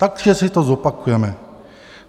Takže si to zopakujeme.